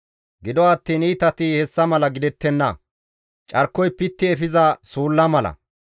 Gido attiin iitati hessa mala gidettenna; carkoy pitti efiza suulla mala.